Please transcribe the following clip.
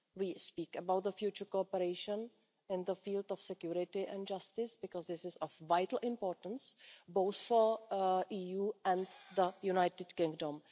We speak about future cooperation in the fields of security and justice, because this is of vital importance, both for the EU and the United Kingdom.